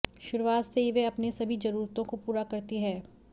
शुरुआत से ही वह अपनी सभी जरूरतों को पूरा करती है